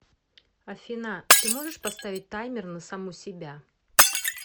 афина ты можешь поставить таймер на саму себя